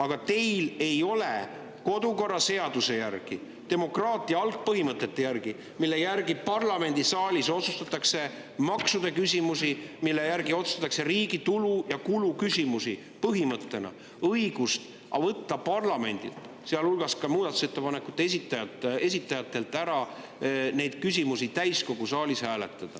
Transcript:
Aga teil ei ole kodukorraseaduse järgi ega demokraatia algpõhimõtete järgi, mille järgi parlamendisaalis otsustatakse maksuküsimusi, mille järgi otsustatakse riigi tulu ja kulu küsimusi, õigust võtta parlamendilt, sealhulgas ka muudatusettepanekute esitajatelt ära neid küsimusi täiskogu saalis hääletada.